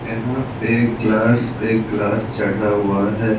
यहाँ पे ग्लास पे ग्लास चढ़ा हुआ है।